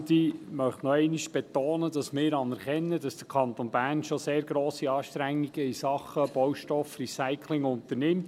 Ich möchte nochmals betonen, dass wir anerkennen, dass der Kanton Bern bereits sehr grosse Anstrengungen in Sachen Baustoffrecycling unternimmt.